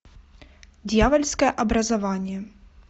дьявольское образование